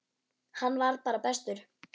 Hann var bara bestur.